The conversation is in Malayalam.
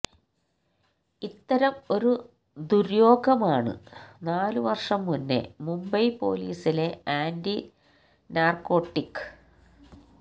ഇത്തരം ഒരു ദുര്യോഗമാണ് നാലു വർഷം മുന്നേ മുംബൈ പൊലീസിലെ ആന്റി നാർക്കോട്ടിക്